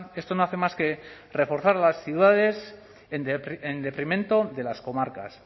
esto no hace más que reforzar a las ciudades en detrimento de las comarcas